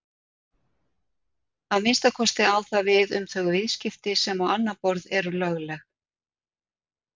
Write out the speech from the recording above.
Að minnsta kosti á það við um þau viðskipti sem á annað borð eru lögleg.